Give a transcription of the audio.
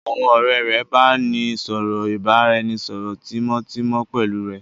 Àwọn ọ̀rẹ́ rẹ̀ bàa ní ọ̀rọ̀ ìbáraẹnisọọ̀rọ̀ tímótímó pẹ́lu rẹ́.